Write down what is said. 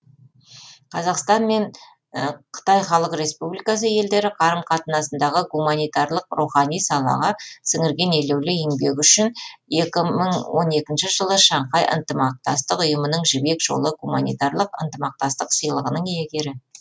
қазақстан мен қытай халық республикасы елдері қарым қатынасындағы гуманитарлық рухани салаға сіңірген елеулі еңбегі үшін екі мың он екінші жылы шаңхай ынтымақтастық ұйымының жібек жолы гуманитарлық ынтымақтастық сыйлығының иегері